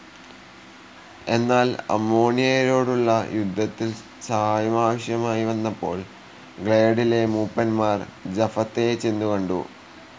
എന്നാൽ അമ്മോണിയരോടുളള യുദ്ധത്തിൽ സഹായം ആവശ്യമായി വന്നപ്പോൾ ഗ്ലൈയഡിലെ മൂപ്പന്മാർ ജഫത്തയെ ചെന്നുകണ്ടു.